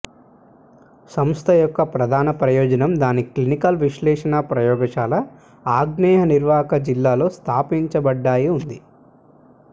సంస్థ యొక్క ప్రధాన ప్రయోజనం దాని క్లినికల్ విశ్లేషణ ప్రయోగశాల ఆగ్నేయ నిర్వాహక జిల్లా లో స్థాపించబడ్డాయి ఉంది